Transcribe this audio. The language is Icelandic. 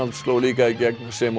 sló líka í gegn sem og